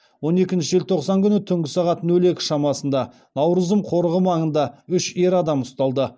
он екінші желтоқсан күні түнгі сағат нөл екі шамасында наурызым қорығы маңында үш ер адам ұсталды